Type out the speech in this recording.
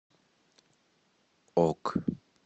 ок